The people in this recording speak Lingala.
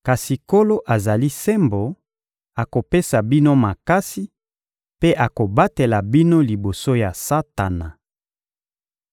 Kasi Nkolo azali sembo, akopesa bino makasi mpe akobatela bino liboso ya Satana.